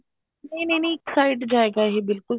ਨਹੀਂ ਨਹੀਂ ਨਹੀਂ ਇੱਕ side ਜਾਏਗਾ ਇਹ ਬਿਲਕੁਲ